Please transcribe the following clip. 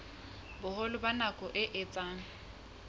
boholo ba nako e etsang